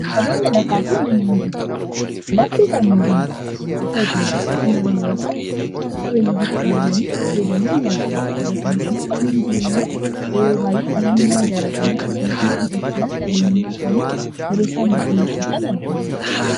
aqabeenya lafaa fi manneein jireenya lafte kan moodummaati haa ta'uti malee namoonni yeroosaan akka qabeenyuufitti ilaalanitti fayyadaman ni argina dabataanismoon manneein jireenyaa yeroo baay'ee namoonni mana jaaratanii akkasumasumoo bitachuudaan qabeenyummaa isaanii yeroo isaan mirkaneeffatan argina